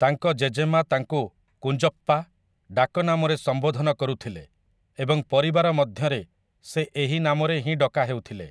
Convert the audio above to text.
ତାଙ୍କ ଜେଜେମା ତାଙ୍କୁ କୁଞ୍ଜପ୍ପା, ଡାକନାମରେ ସମ୍ବୋଧନ କରୁଥିଲେ ଏବଂ ପରିବାର ମଧ୍ୟରେ ସେ ଏହି ନାମରେ ହିଁ ଡକାହେଉଥିଲେ ।